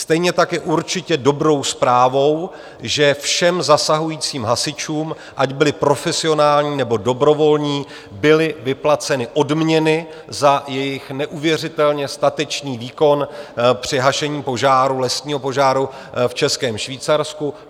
Stejně tak je určitě dobrou zprávou, že všem zasahujícím hasičům, ať byli profesionální, nebo dobrovolní, byly vyplaceny odměny za jejich neuvěřitelně statečný výkon při hašení požáru, lesního požáru v Českém Švýcarsku.